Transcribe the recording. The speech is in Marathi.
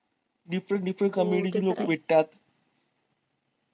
different different comedy ची लोकं भेटतात